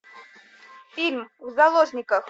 фильм в заложниках